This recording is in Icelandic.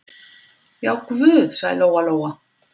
Já, guð, sagði Lóa-Lóa.